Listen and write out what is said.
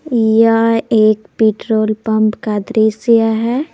यह एक petrol pump का दृश्य है।